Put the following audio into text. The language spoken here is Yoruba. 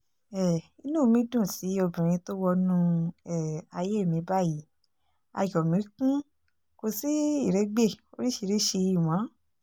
um inú mi dùn sí obìnrin tó wọnú um ayé mi báyìí ayọ̀ mi kún kò sí ìrégbè oríṣiríṣiì mọ́